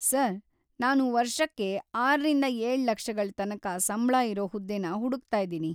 Sir, ನಾನು ವರ್ಷಕ್ಕೆ ಆರರಿಂದ ಏಳು ಲಕ್ಷಗಳ್ ತನಕ ಸಂಬ್ಳ ಇರೋ ಹುದ್ದೆನ ಹುಡುಕ್ತಾ ಇದೀನಿ.